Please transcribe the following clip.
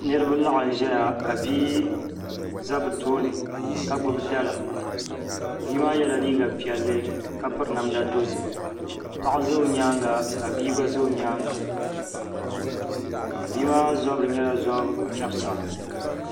Niraba laɣam ʒɛya ka bia ʒɛ bi tooni ka gbubi dala bia maa yɛla liiga piɛlli ka piri namda dozim paɣa ʒɛ o nyaanga ka bia gba ʒɛ o nyaanga bia maa zabiri nyɛla zabi chɛbisa